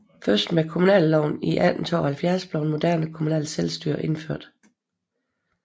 Først med kommuneloven i 1872 blev et moderne kommunalt selvstyre indført